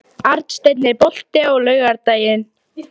Arnsteinn, er bolti á laugardaginn?